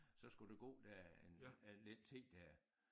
Så skulle der gå der en en lidt tid der